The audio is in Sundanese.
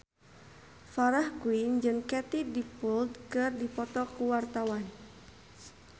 Farah Quinn jeung Katie Dippold keur dipoto ku wartawan